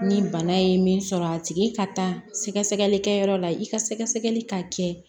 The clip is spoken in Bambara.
Ni bana ye min sɔrɔ a tigi ka taa sɛgɛ sɛgɛli kɛ yɔrɔ la i ka sɛgɛsɛgɛli ka kɛ